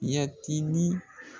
Yɛtini